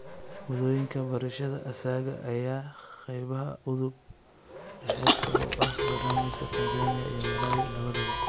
Moodooyinka barashada asaaga ayaa ah qaybaha udub dhexaadka u ah barnaamijyada Tansaaniya iyo Malawi labadaba.